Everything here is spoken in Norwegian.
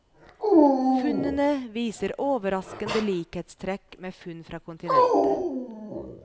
Funnene viser overraskende likhetstrekk med funn fra kontinentet.